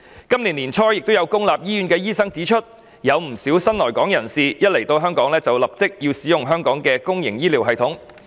今年年初亦有公立醫院醫生指出，不少新來港人士一抵港便立即使用香港的公營醫療系統。